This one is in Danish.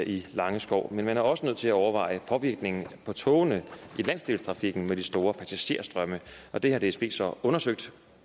i langeskov men man er også nødt til at overveje påvirkningen på togene i landsdelstrafikken med de store passagerstrømme det har dsb så undersøgt